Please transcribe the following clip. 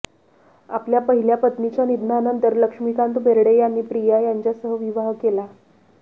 आपल्या पहिल्या पत्नीच्या निधनानंतर लक्ष्मीकांत बेर्डे यांनी प्रिया यांच्यासह विवाह केला